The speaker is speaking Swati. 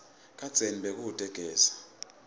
kadzeni bekute gesi